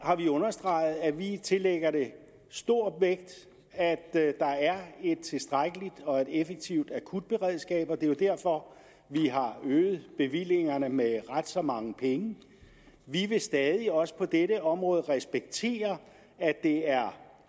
har vi understreget at vi tillægger det stor vægt at der er et tilstrækkeligt og effektivt akutberedskab og det er jo derfor vi har øget bevillingerne med ret så mange penge vi vil stadig også på dette område respektere at det er